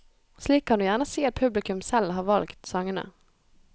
Slik kan du gjerne si at publikum selv har valgt sangene.